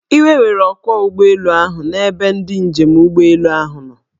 Iwe were ọkwọụgbọelu ahu na ebe ndị njem ụgbọelu ahụ nọ.